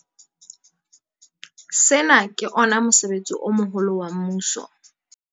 Sena ke ona mosebetsi o moholo wa mmuso.